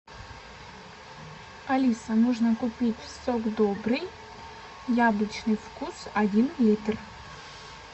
алиса нужно купить сок добрый яблочный вкус один литр